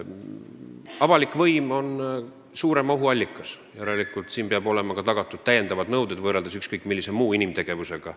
Avalik võim on suurem ohuallikas, järelikult siin peavad olema kehtestatud täiendavad nõuded võrreldes ükskõik millise muu inimtegevusega.